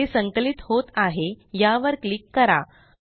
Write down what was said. हे संकलित होत आहे यावर क्लिक करा